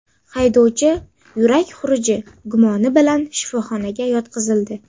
Haydovchi yurak xuruji gumoni bilan shifoxonaga yotqizildi.